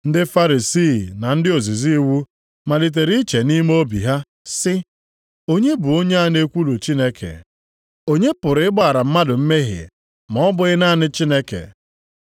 Ndị Farisii na ndị ozizi iwu malitere iche nʼime obi ha sị, “Onye bụ onye a na-ekwulu Chineke? Onye pụrụ ịgbaghara mmadụ mmehie, ma ọ bụghị naanị Chineke?”